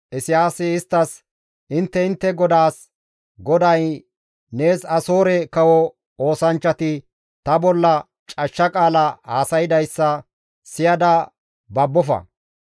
Isayaasi isttas, «Intte intte godaas, ‹GODAY nees Asoore kawo oosanchchati ta bolla cashsha qaala haasaydayssa siyada babbofa;